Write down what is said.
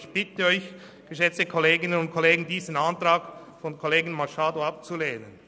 Ich bitte Sie, geschätzte Kolleginnen und Kollegen, diesen Antrag von Kollegin Machado abzulehnen.